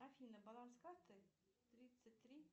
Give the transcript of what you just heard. афина баланс карты тридцать три